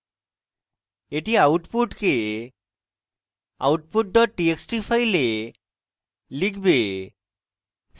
এটি output output dot txt file লিখবে